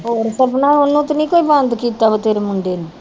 ਹੋਰ ਤੇ ਨੀ ਕੋਈ ਬੰਦ ਕੀਤਾ ਵੀ ਤੇਰੇ ਮੁੰਡੇ ਨੂੰ